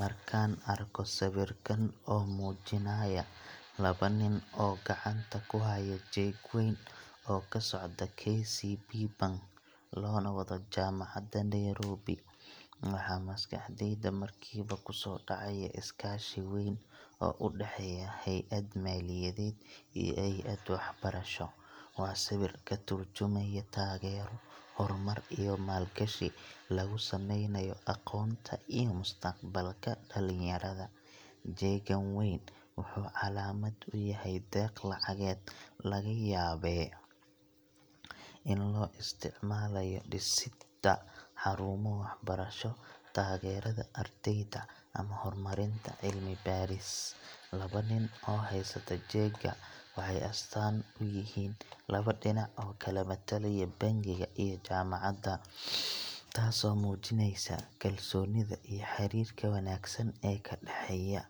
Markaan arko sawirkan oo muujinaya laba nin oo gacanta ku haya jeeg weyn oo ka socda KCB Bank loona wado Jaamacadda Nairobi, waxa maskaxdayda markiiba ku soo dhacaya iskaashi weyn oo u dhexeeya hay’ad maaliyadeed iyo hay’ad waxbarasho. Waa sawir ka tarjumaya taageero, horumar iyo maalgashi lagu sameynayo aqoonta iyo mustaqbalka dhalinyarada. Jeegga weyn wuxuu calaamad u yahay deeq lacageed laga yaabee in loo isticmaalayo dhisidda xarumo waxbarasho, taageerada ardayda, ama horumarinta cilmi-baaris. Laba nin oo haysta jeegga waxay astaan u yihiin laba dhinac oo kala matalaya bangiga iyo jaamacadda, taasoo muujinaysa kalsoonida iyo xiriirka wanaagsan ee ka dhexeeya.